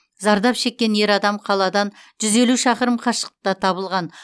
зардап шеккен ер адам қаладан жүз елу шақырым қашықтықта табылған